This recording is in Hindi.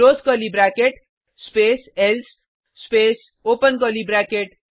close curly bracket space else space open curly bracket